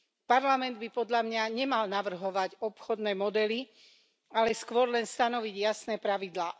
Parlament by podľa mňa nemal navrhovať obchodné modely, ale skôr len stanoviť jasné pravidlá.